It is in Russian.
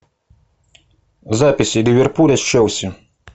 запись ливерпуля с челси